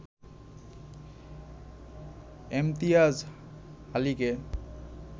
Imtiaz আলিকে